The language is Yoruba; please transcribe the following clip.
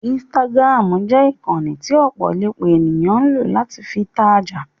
Instagram jẹ ìkànnì tí ọ̀pọ̀lọpọ̀ ènìyàn ń lọ̀ láti fi tajà.